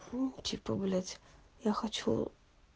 у типа блять я хочу